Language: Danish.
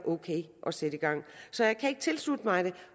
ok at sætte i gang så jeg kan ikke tilslutte mig det